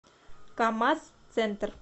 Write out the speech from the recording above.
камаз центр